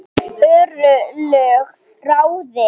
Örlög ráðin